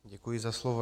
Děkuji za slovo.